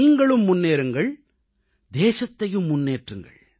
நீங்களும் முன்னேறுங்கள் தேசத்தையும் முன்னேற்றுங்கள்